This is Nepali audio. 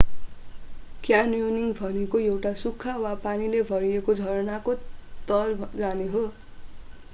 क्यान्योनिङ वा: क्यान्योनियरिङ भनेको एउटा सुख्खा वा पानीले भरिएको झरनाको तल जाने हो।